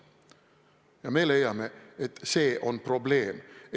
Ja me leiame, et see on probleem.